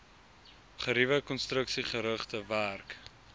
geriewe konstruksiegerigte werk